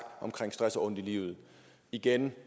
omkring stress og ondt i livet igen